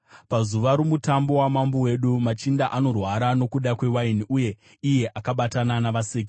Pazuva romutambo wamambo wedu machinda anorwara nokuda kwewaini, uye iye akabatana navaseki.